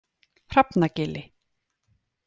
Hrafnagili